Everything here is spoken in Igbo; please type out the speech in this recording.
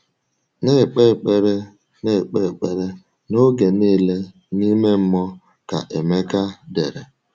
“Na-ekpe ekpere “Na-ekpe ekpere n’oge niile n’ime mmụọ,” ka Emeka dere.